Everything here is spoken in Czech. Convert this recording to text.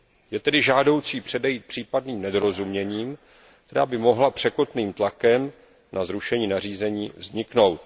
Je tedy žádoucí předejít případným nedorozuměním, která by mohla překotným tlakem na zrušení nařízení vzniknout.